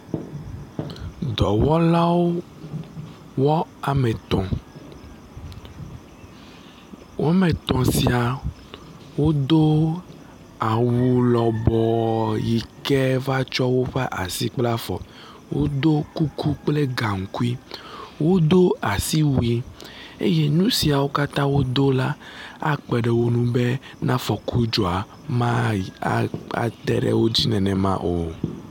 Dɔwɔlawo woame etɔ̃, woame etɔ̃ sia wodo awu lɔbɔɔ yi ke va tsɔ woƒe asi kple afɔ. Wodo kuku kple gaŋkui. Wodo asiwui eye nu siawo katã wodo la akpe ɖe wo ŋu bɔ ne afɔku dzɔ la mate ɖe wo dzi nenema o.